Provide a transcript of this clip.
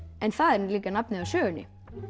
en það er líka nafnið á sögunni